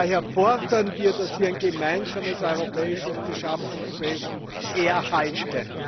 Daher fordern wir, dass wir ein gemeinsames europäisches Beschaffungswesen erhalten.